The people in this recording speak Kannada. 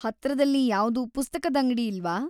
ಹತ್ರದಲ್ಲಿ ಯಾವ್ದೂ ಪುಸ್ತಕದಂಗಡಿ ಇಲ್ವಾ?